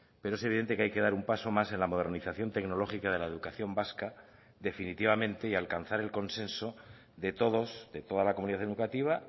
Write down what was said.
pero es evidente que hay que dar un paso más en la modernización tecnológica de la educación vasca definitivamente y alcanzar el consenso de todos de toda la comunidad educativa